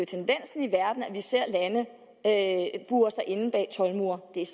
tendensen i verden at vi ser lande bure sig inde bag toldmure det er